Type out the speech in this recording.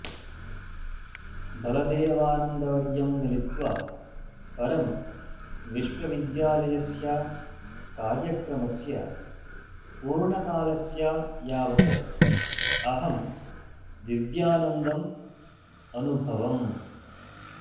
बलदेवानन्दवर्यं मिलित्वा परं विश्विद्यालयस्य कार्यक्रमस्य पूर्णकालस्य यावत् अहं दिव्यानन्दम् अन्भवम्